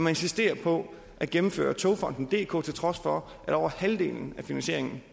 insisterer på at gennemføre togfonden dk til trods for at over halvdelen af finansieringen